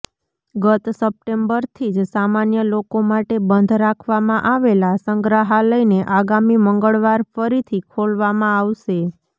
ગત સપ્ટેમ્બરથી જ સામાન્ય લોકો માટે બંધ રાખવામાં આવેલા સંગ્રહાલયને આગામી મંગળવાર ફરીથી ખોલવામાં આવશે